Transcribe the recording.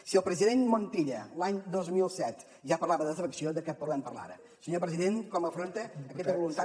si el president montilla l’any dos mil set ja parlava de desafecció de què podem parlar ara senyor president com afronta aquesta voluntat